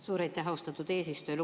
Suur aitäh, austatud eesistuja!